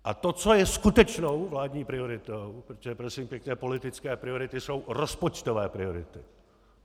A to, co je skutečnou vládní prioritou - protože prosím pěkně politické priority jsou rozpočtové priority.